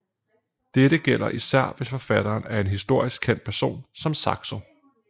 Dette gælder især hvis forfatteren er en historisk kendt person så som Saxo